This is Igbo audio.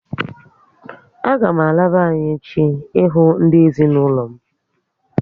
A ga m ala be anyị echi ị hụ ndị ezinụlọ m